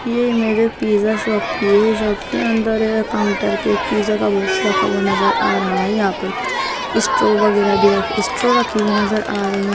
ये मेरे pizza shop की है शॉप के अंदर काउंटर पे एक पिज़्ज़ा का बुक्स रखा हुआ नजर आ रहा है यहाँ पर कुछ स्ट्रॉ वगेरा भी रखी स्ट्रॉ रखी हुई नजर आ रही है।